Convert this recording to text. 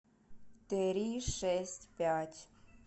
три шесть пять